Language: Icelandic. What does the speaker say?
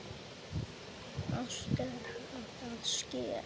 Allt er að ske!